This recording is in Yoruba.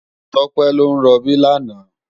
Tope lò n ròbí làná